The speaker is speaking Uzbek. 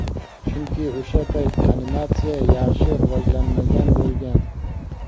Chunki o‘sha payt animatsiya yaxshi rivojlanmagan bo‘lgan.